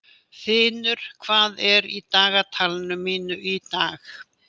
Þinur, hvað er í dagatalinu mínu í dag?